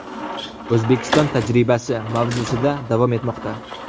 O‘zbekiston tajribasi” mavzusida davom etmoqda.